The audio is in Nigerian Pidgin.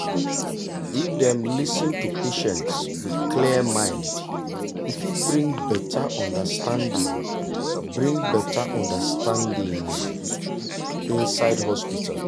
if dem lis ten to patients with clear mind e fit bring better understanding bring better understanding inside hospital.